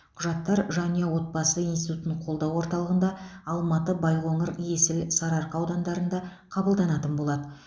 құжаттар жанұя отбасы институтын қолдау орталығында алматы байқоңыр есіл сарыарқа аудандарында қабылданатын болады